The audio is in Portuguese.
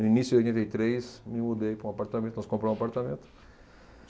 No início de oitenta e três me mudei para um apartamento, nós compramos um apartamento.